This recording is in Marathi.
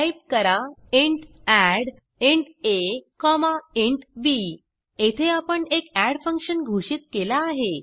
टाईप करा int add int a comma int b येथे आपण एक एड फंक्शन घोषित केला आहे